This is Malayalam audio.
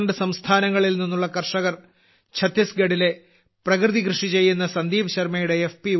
12 സംസ്ഥാനങ്ങളിൽ നിന്നുള്ള കർഷകർ ഝത്തീസ്ഗഢിലെ പ്രകൃതികൃഷി ചെയ്യുന്ന സന്ദീപ് ശർമ്മയുടെ എഫ്